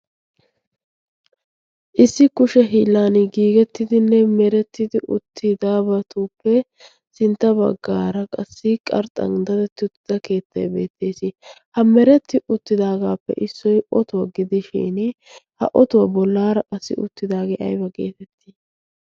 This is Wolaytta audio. issi kushe hiilan oosetidabatuppe sinta bagaara qassi qarxxan dadeti uttida keettay de'ees. ha mereti utdaagappe issoy ottuwa gidishin bolaara de'iyagee aybba geetettii?